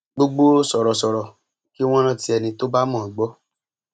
gbogbo sọrọsọrọ kí wọn rántí ẹni tó bá mọ ọn gbọ